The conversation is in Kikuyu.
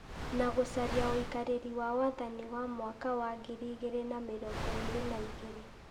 na gũcaria ũikarĩri wa wathani wa mwaka wa ngiri igĩrĩ na mĩrongo ĩrĩ na igĩrĩ ,